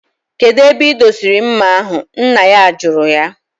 Kedu ebe idosiri mma ahu, nna ya juru ya?